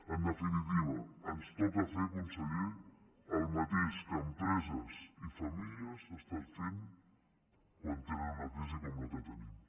en definitiva ens toca fer conseller el mateix que empreses i famílies estan fent quan tenen una crisi com la que tenim